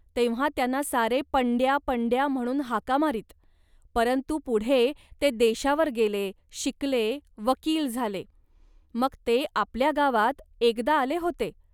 तेव्हा त्यांना सारे पंड्या पंड्या म्हणून हाका मारीत, परंतु पुढे ते देशावर गेले, शिकले, वकील झाले. मग ते आपल्या गावात एकदा आले होते